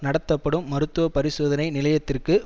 நடத்தப்படும் மருத்துவ பரிசோதனை நிலையத்திற்கு